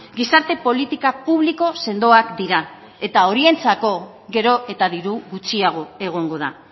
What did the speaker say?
gizarte politika publiko sendoak dira eta horientzako gero eta diru gutxiago egongo da